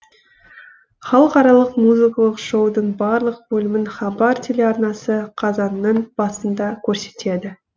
халықаралық музыкалық шоудың барлық бөлімін хабар телеарнасы қазанның басында көрсетеді